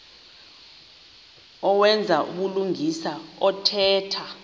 owenza ubulungisa othetha